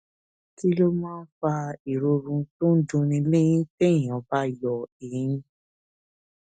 kí ló máa ń fa ìròrùn tó ń dunni léyìn téèyàn bá yọ eyín